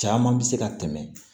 Caman bɛ se ka tɛmɛ